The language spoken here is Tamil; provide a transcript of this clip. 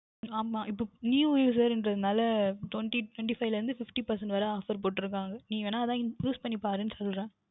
ஆமாம் இப்பொழுது New user குறதால TwentyTwenty five ல இருந்து Fifty percentage வரை Offer போட்டு இருக்கிறார்கள் நீங்கள் வேனால் உம் Use பண்ணி பாருங்கள் என்று சொல்லுகின்றேன்